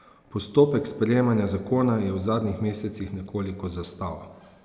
Postopek sprejemanja zakona je v zadnjih mesecih nekoliko zastal.